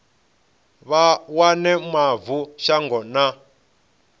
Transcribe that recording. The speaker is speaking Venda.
vha wane mavu shango na